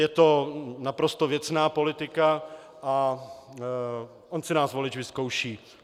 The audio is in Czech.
Je to naprosto věcná politika a on si nás volič vyzkouší.